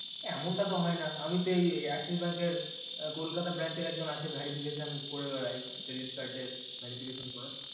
এমন টা তো হয় না আমি তো এই axis bank এর কলকাতা branch এর এক জন আছে verification করে বেড়াই credit acrd এর verification করে